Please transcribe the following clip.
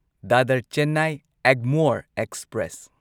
Dadar Chennai Egmore express